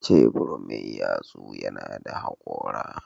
Shebur mai yatsu yana da hakora.